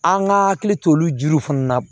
An ka hakili to olu jiw fana na